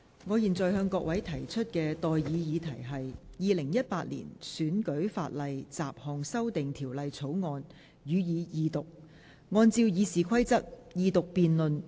我現在向各位提出的待議議題是：《2018年選舉法例條例草案》，予以二讀。